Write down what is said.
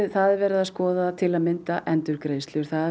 það er verið að skoða til að mynda endurgreiðslur það er